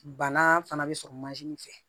Bana fana bɛ sɔrɔ fɛ